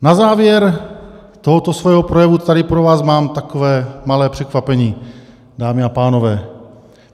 Na závěr tohoto svého projevu tady pro vás mám takové malé překvapení, dámy a pánové.